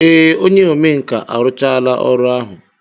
Ee, onye omenkà arụchaala ọrụ ahụ.